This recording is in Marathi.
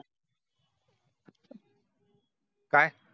काय